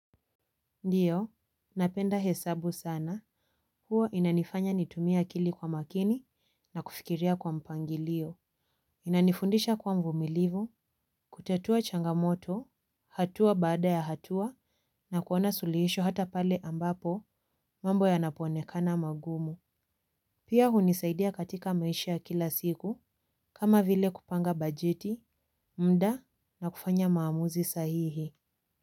Ndiyo, napenda hesabu sana. Huwa inanifanya nitumie akili kwa makini na kufikiria kwa mpangilio. Inanifundisha kuwa mvumilivu, kutatua changamoto, hatua baada ya hatua na kuona suluhisho hata pale ambapo mambo yanaponekana magumu. Pia hunisaidia katika maisha ya kila siku kama vile kupanga bajeti, mda na kufanya maamuzi sahihi.